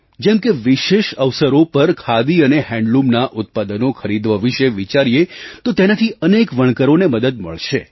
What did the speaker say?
જેમ કે વિશેષ અવસરો પર ખાદી અને હૅન્ડલૂમનાં ઉત્પાદનો ખરીદવા વિશે વિચારીએ તો તેનાથી અનેક વણકરોને મદદ મળશે